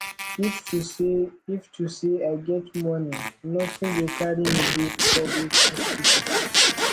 if to say if to say i get money nothing go carry me go public hospital